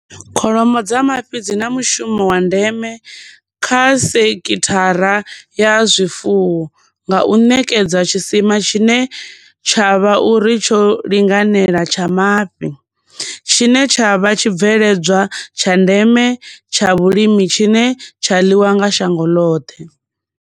Kholomo dza mafhi dzi na mushumo wa ndeme kha sekhithara ya zwifuwo, nga u ṋekedza tshisima tshine tsha vha uri tsho linganela tsha mafhi, tshine tsha vha tshibveledzwa tsha ndeme tsha vhulimi tshine tsha ḽiwa nga shango loṱhe.